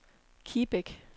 Kibæk